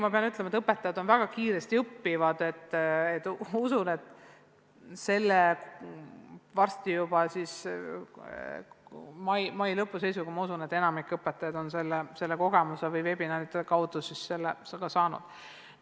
Ma pean ütlema, et õpetajad on väga kiired õppijad, ja usun, et mai lõpu seisuga on enamik õpetajaid selle veebiseminaride kogemuse saanud.